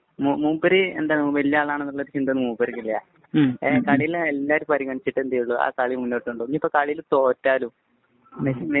മൂപ്പര് ഇപ്പൊ വല്യആളാണെന്ന് ഉള്ള ചിന്ത മൂപ്പര്‍ക്കില്ല. കളീല് എല്ലാവരെയും പരിഗണിച്ചിട്ടേ എന്ത് ചെയ്യുകയുള്ളൂ.